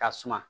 Ka suma